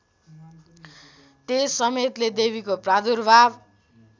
तेजसमेतले देवीको प्रादुर्भाव